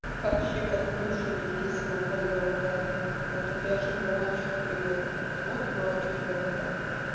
вообще коклюш у меня весело болела даже вот опять же ночь к примеру вот ночь идёт да